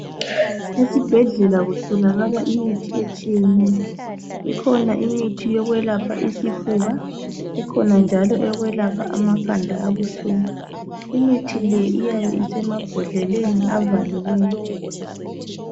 Esibhedlela kutholakala imithi etshiyeneyo. Ikhona imithi eyokwelapha isifuba, ikhona njalo eyokwelapha amakhanda abuhlungu. Imithi le iyabe isemabhodleleni avaliweyo.